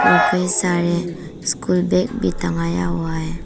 और कई सारे स्कूल बैग भी टंगाया हुआ है।